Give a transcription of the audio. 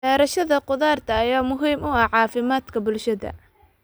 Beerashada khudaarta ayaa muhiim u ah caafimaadka bulshada.